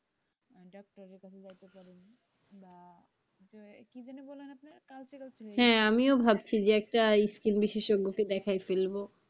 হ্যাঁ আমিও ভাবছি একটা স্কিন বিশেষজ্ঞকে দেখাই ফেলবো।